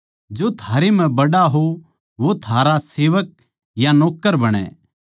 जो थारै म्ह बड्ड़ा हो वो थारा सेवक या नौक्कर बणै